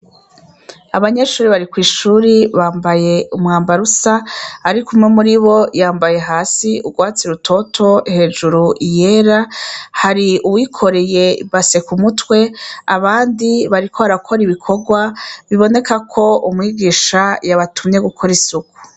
Abanyeshure bari kw'ishure bambaye umwambaro usa. Ariko umwe muri bo, yambaye hasi urwatsi rutoro, hejuru iyera. Hari uwikoreye ibase ku mutwe, abandi bariko barakora ibikorwa, biboneka ko umwigisha yabatumye gukora isuku.